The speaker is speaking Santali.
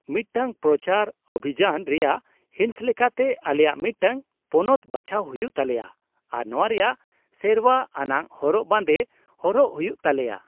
ᱢᱤᱫᱴᱟᱝ ᱯᱨᱚᱪᱟᱨ ᱚᱵᱷᱤᱡᱟᱱ ᱨᱮᱭᱟᱜ ᱦᱤᱸᱥ ᱞᱮᱠᱟᱛᱮ, ᱟᱞᱮᱭᱟᱜ ᱢᱤᱫᱴᱟᱝ ᱯᱚᱱᱚᱛ ᱵᱟᱪᱷᱟᱣ ᱦᱩᱭᱩᱜ ᱛᱟᱞᱮᱭᱟ ᱟᱨ ᱱᱚᱶᱟ ᱨᱮᱭᱟᱜ ᱥᱮᱨᱶᱟ ᱟᱱᱟᱜ ᱦᱚᱨᱚᱜ ᱵᱟᱸᱫᱮ ᱦᱚᱨᱚᱜ ᱦᱩᱭᱩᱜ ᱛᱟᱞᱮᱭᱟ ᱾